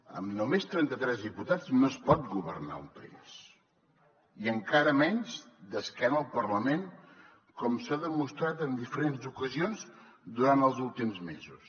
amb només trenta tres diputats no es pot governar un país i encara menys d’esquena al parlament com s’ha demostrat en diferents ocasions durant els últims mesos